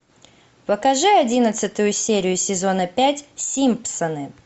покажи одиннадцатую серию сезона пять симпсоны